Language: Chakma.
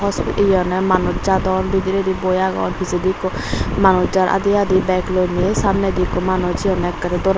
is yeonye manus jadon bidredi boi agon pichedi ikko manus jar adi adi bag loney samnedi ikko manus hihonye ekkrey doranot.